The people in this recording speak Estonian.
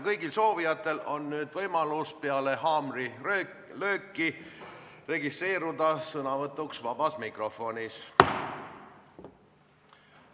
Kõigil soovijatel on võimalus peale haamrilööki registreeruda sõnavõtuks vabas mikrofonis.